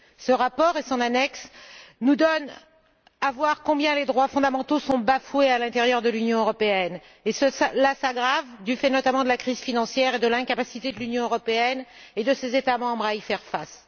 Ce rapport et son annexe nous donnent à voir combien les droits fondamentaux sont bafoués à l'intérieur de l'Union européenne, et la situation s'aggrave, du fait notamment de la crise financière et de l'incapacité de l'Union européenne et de ses États membres à y faire face.